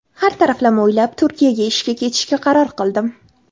Har taraflama o‘ylab, Turkiyaga ishga ketishga qaror qildim.